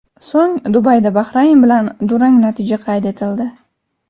So‘ng Dubayda Bahrayn bilan durang natija qayd etildi.